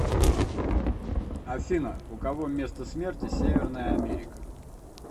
афина у кого место смерти северная америка